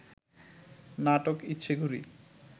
নাটক ইচ্ছেঘুড়ি